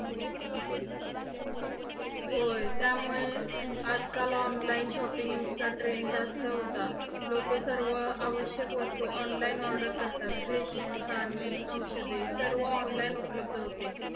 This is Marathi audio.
होय. त्यामुळे आजकाल online shopping चा trend जास्त होता. लोक सर्व आवश्यक वस्तू online order करतात. Ration पाणी, औषधे सर्व online उपलब्ध होते.